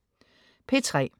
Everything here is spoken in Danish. P3: